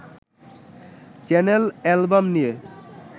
channel album নিয়ে